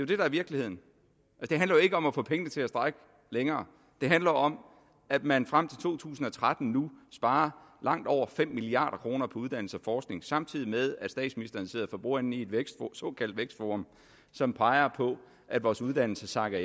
det der er virkeligheden det handler jo ikke om at få pengene til at strække længere det handler om at man frem til to tusind og tretten nu sparer langt over fem milliard kroner på uddannelse og samtidig med at statsministeren sidder for bordenden i et såkaldt vækstforum som peger på at vores uddannelser sakker